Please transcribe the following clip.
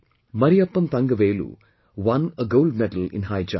Mariyappan Thangavelu won a gold medal in High Jump